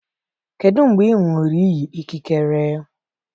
Kedu mgbe ị ṅụrụ iyi ikikere?